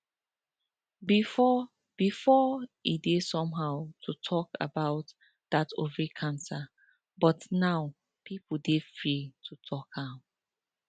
before before e dey somehow to talk about that ovary cancer but now people dey free to talk am